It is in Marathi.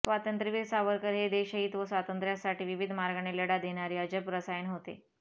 स्वातंत्र्यवीर सावरकर हे देशहित व स्वातंत्र्यासाठी विविध मार्गाने लढा देणारे अजब रसायन होते